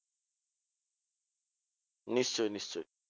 নিশ্চই নিশ্চই